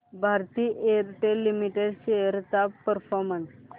Bharti Airtel limited shares चा performance